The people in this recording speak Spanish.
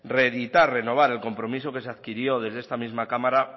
reeditar renovar el compromiso que se adquirió desde esta misma cámara